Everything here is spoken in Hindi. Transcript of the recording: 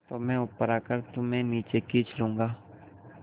तो मैं ऊपर आकर तुम्हें नीचे खींच लूँगा